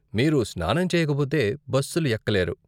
మీరు స్నానం చేయకపోతే బస్సులు ఎక్కలేరు.